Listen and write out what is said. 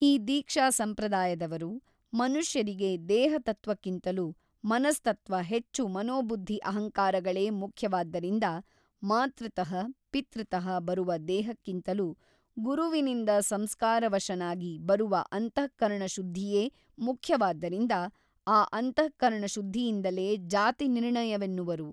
ಈ ದೀಕ್ಷಾಸಂಪ್ರದಾಯದವರು ಮನುಷ್ಯರಿಗೆ ದೇಹತತ್ವಕ್ಕಿಂತಲೂ ಮನಸ್ತತ್ತ್ವ ಹೆಚ್ಚು ಮನೋಬುದ್ಧಿ ಅಹಂಕಾರಗಳೇ ಮುಖ್ಯವಾದ್ದರಿಂದ ಮಾತೃತಃ ಪಿತೃತಃ ಬರುವ ದೇಹಕ್ಕಿಂತಲೂ ಗುರುವಿನಿಂದ ಸಂಸ್ಕಾರವಶನಾಗಿ ಬರುವ ಅಂತಃಕರಣಶುದ್ಧಿಯೇ ಮುಖ್ಯವಾದ್ದರಿಂದ ಆ ಅಂತಃಕರಣಶುದ್ಧಿಯಿಂದಲೇ ಜಾತಿ ನಿರ್ಣಯವೆನ್ನುವರು.